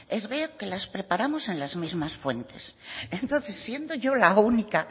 es ver que las preparamos en las mismas fuentes entonces siendo yo la única